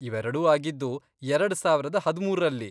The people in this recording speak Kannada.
ಇವೆರಡೂ ಆಗಿದ್ದು ಎರಡ್ ಸಾವರದ್ ಹದಿಮೂರ್ರಲ್ಲಿ.